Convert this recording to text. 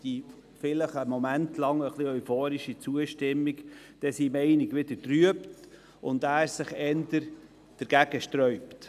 Die vielleicht etwas euphorische Zustimmung wird dadurch möglicherweise wieder etwas getrübt, und man sträubt sich wieder etwas dagegen.